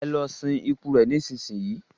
ẹ lọ sin ikú rẹ nísinsin yìí!